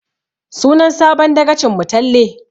Sunan sabon dagacin mu Talle